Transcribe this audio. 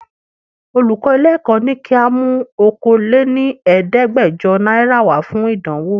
Olùkọ́ ilé Èkó ni ka mú Okòó lé ní Ẹ̀ẹ́dẹ́gbẹjọ náírà wá fún ìdánwò.